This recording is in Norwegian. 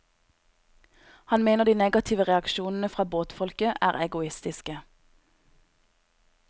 Han mener de negative reaksjonene fra båtfolket er egoistiske.